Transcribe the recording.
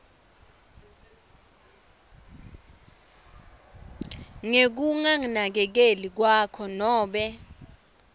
ngekunakekeli kwakhe nobe